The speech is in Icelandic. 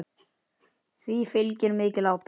Því fylgir mikil ábyrgð.